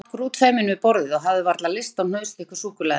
Ég sat grútfeiminn við borðið og hafði varla lyst á hnausþykku súkkulaði.